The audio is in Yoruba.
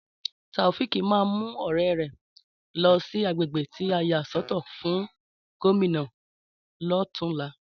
Tàòféèkì ma mu ọ̀rẹ́ rẹ̀ lọ sí àgbègbè tí a yà sọ́tọ̀ fún Gómìnà lotunla